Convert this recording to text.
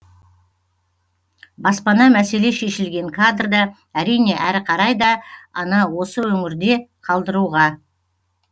баспана мәселе шешілген кадрда әрине әрі қарай да она осы өңірде қалдыруға